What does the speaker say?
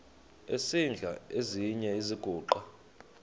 esidl eziny iziguqa